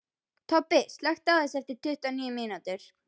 Tobbi, slökktu á þessu eftir tuttugu og níu mínútur.